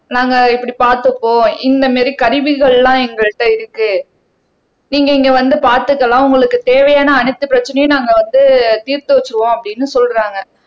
நாங்க இப்படி பார்த்துப்போ இந்த மாதிரி கருவிகள் எல்லாம் எங்கள்ட்ட இருக்கு நீங்க இங்க வந்து பார்த்துக்கலாம் உங்களுக்கு தேவையான அனைத்து பிரச்சனையும் நாங்க வந்து தீர்த்து வச்சிருவோம் அப்படின்னு சொல்றாங்க